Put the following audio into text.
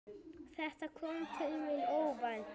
Þetta kom til mín óvænt.